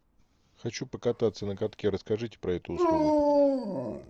хочу покататься на катке расскажите про эту услугу